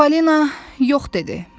Falina yox dedi.